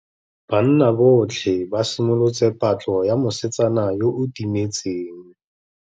Banna botlhê ba simolotse patlô ya mosetsana yo o timetseng.